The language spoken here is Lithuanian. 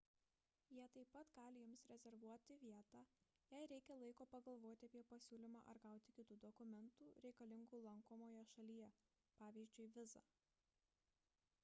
jie taip pat gali jums rezervuoti vietą jei reikia laiko pagalvoti apie pasiūlymą ar gauti kitų dokumentų reikalingų lankomoje šalyje pvz. vizą